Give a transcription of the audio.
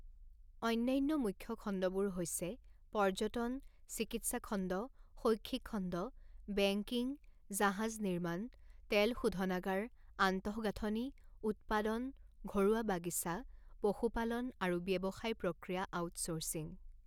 অন্যান্য মুখ্য খণ্ডবোৰ হৈছে পৰ্যটন, চিকিৎসা খণ্ড, শৈক্ষিক খণ্ড, বেঙ্কিং, জাহাজ নিৰ্মাণ, তেল শোধনাগাৰ, আন্তঃগাঁথনি, উৎপাদন, ঘৰুৱা বাগিচা, পশুপালন, আৰু ব্যৱসায় প্ৰক্ৰিয়া আউটচৰ্চিং।